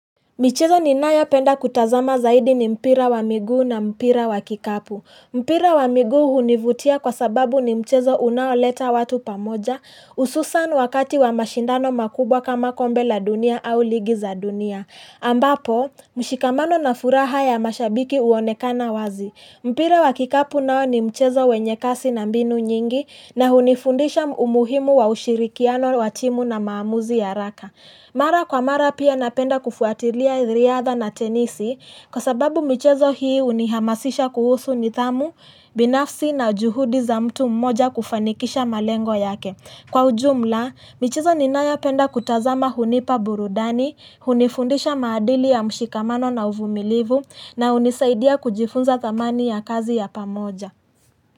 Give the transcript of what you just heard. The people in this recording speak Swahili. Michezo ni nayo penda kutazama zaidi ni mpira wa miguu na mpira wa kikapu. Mpira wa miguu hunivutia kwa sababu ni mchezo unaoleta watu pamoja, ususan wakati wa mashindano makubwa kama kombe la dunia au ligi za dunia. Ambapo, mshikamano na furaha ya mashabiki uonekana wazi. Mpira wa kikapu nao ni mchezo wenye kasi na mbinu nyingi na hunifundisha umuhimu wa ushirikiano watimu na maamuzi ya haraka. Mara kwa mara pia napenda kufuatilia riyadha na tenisi kwa sababu michezo hii unihamasisha kuhusu ni thamu, binafsi na juhudi za mtu mmoja kufanikisha malengo yake. Kwa ujumla, michezo ninayo penda kutazama hunipa burudani, hunifundisha madili ya mshikamano na uvumilivu na unisaidia kujifunza thamani ya kazi ya pamoja.